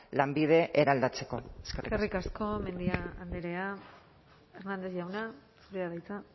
lanbide eraldatzeko eskerrik asko eskerrik asko mendia andrea hernández jauna zurea da hitza